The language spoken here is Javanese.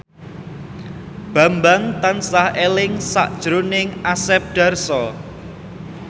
Bambang tansah eling sakjroning Asep Darso